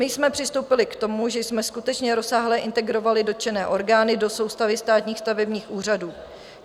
My jsme přistoupili k tomu, že jsme skutečně rozsáhle integrovali dotčené orgány do soustavy státních stavebních úřadů.